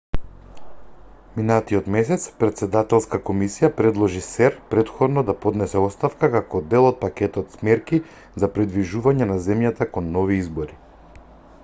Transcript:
минатиот месец претседателска комисија предложи сер претходно да поднесе оставка како дел од пакетот мерки за придвижување на земјата кон нови избори